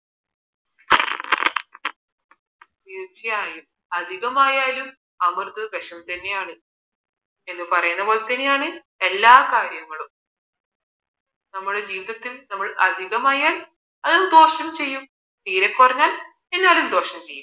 തീർച്ചയായും അമിതമായാൽ അമൃതവും വിഷം തന്നെയാണ് എന്ന് പറയുന്ന പോലെ തന്നെയാണ് എല്ലാ കാര്യങ്ങളും നമ്മുടെ ജീവിതത്തിൽ അമിതമായാൽ അതും ദോഷം ചെയ്യും തീരെ കുറഞ്ഞാൽ എന്നാലും ദോഷം ചെയ്യും